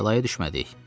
Bəlaya düşmədik.